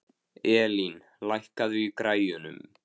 Elín, lækkaðu í græjunum.